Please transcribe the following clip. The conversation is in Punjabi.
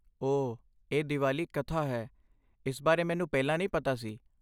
ਓਹ, ਇਹ ਦੀਵਾਲੀ ਕਥਾ ਹੈ। ਇਸ ਬਾਰੇ ਮੈਨੂੰ ਪਹਿਲਾਂ ਨਹੀਂ ਪਤਾ ਸੀ।